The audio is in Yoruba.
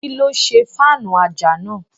Kíló ṣe fáànù àjà náà?